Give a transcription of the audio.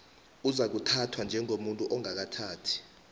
uzakuthathwa njengomuntu ongakathathi